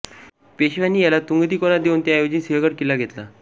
पेशव्यांनीं याला तुंगतिकोना देऊन त्याऐवजीं सिंहगड किल्ला घेतला